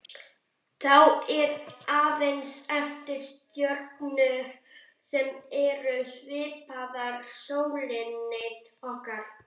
Þá eru aðeins eftir stjörnur sem eru svipaðar sólinni okkar.